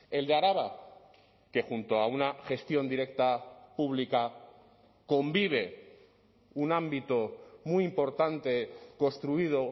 el de araba qué junto a una gestión directa pública convive un ámbito muy importante construido